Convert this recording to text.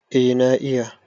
Eh na iya.